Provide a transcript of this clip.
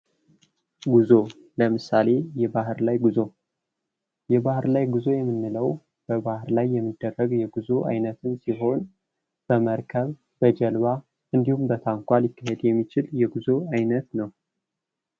ጉዞ ለምሳሌ የባህር ላይ ጉዞ ፦ የባህር ላይ ጉዞ የምንለው በባህር ላይ የሚደረግ የጉዞ ዓይነትን ሲሆን በመርከብ ፣ በጀልባ እንዲሁም በታንኳ ሊካሄድ የሚችል የጉዞ ዓይነት ነው ።